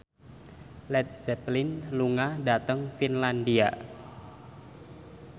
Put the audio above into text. Led Zeppelin lunga dhateng Finlandia